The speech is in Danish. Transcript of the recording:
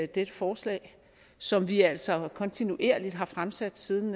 dette forslag som vi altså kontinuerligt har fremsat siden